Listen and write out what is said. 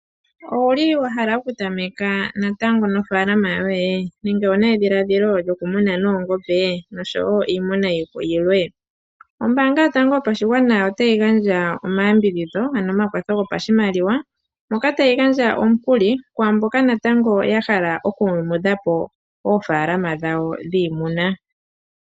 Owuli wa hala okutameka natango nofaalama yoye nenge owuna edhiladhilo lyokumuna noongombe nosho wo iimuna yilwe? Ombaanga yotango yopashigwana otayi gandja omayambidhidho ano omakwatho gopashimaliwa moka tayi gandja omukuli kwaamboka natango ya hala okuyumudha po oofaalama dhawo dhiimuna.